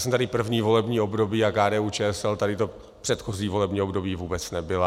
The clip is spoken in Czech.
Jsem tady první volební období a KDU-ČSL tady to předchozí volební období vůbec nebyla.